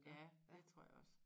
Ja det tror jeg også